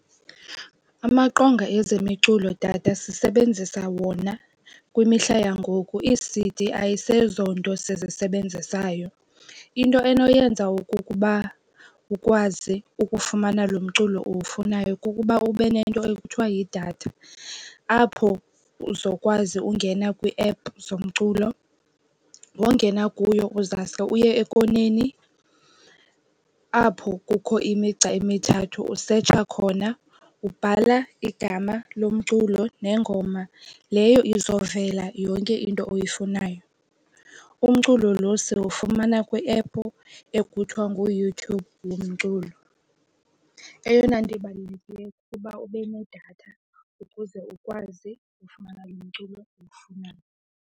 Amaqonga ezi zemiculo tata sisebenzisa wona kwimihla yangoku. Ii-C_D ayiseyonto sizisebenzisayo. Into enoyenza okukuba ukwazi ukufumana lo mculo uwufunayo kukuba ube nento ekuthiwa yidatha apho uzokwazi ungena kwiiephu zomculo. Wongena kuyo uzawuske uye ekoneni apho kukho imigca emithathu usetsha khona. Ubhala igama lomculo nengoma leyo, izovele yonke into oyifunayo. Umculo lo siwufumana kwiephu ekuthiwa nguYouTube yomculo. Eyona nto ibalulekileyo kukuba ube nedatha ukuze ukwazi ufumana lo mculo owufunayo.